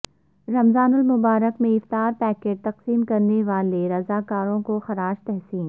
رمضان المبارک میں افطار پیکٹ تقسیم کرنے والے رضاکاروں کو خراج تحسین